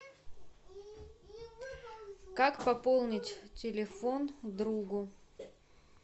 как пополнить телефон другу